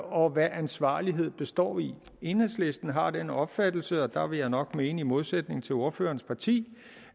og hvad ansvarlighed består i enhedslisten har den opfattelse og der vil jeg nok mene i modsætning til ordførerens parti